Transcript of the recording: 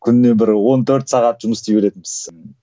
күніне бір он төрт сағат жұмыс істей беретінбіз